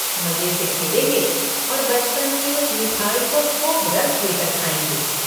मजे से खेलेंगे और बचपन की उस मिठाई को खूब रस लेकर खाएंगे।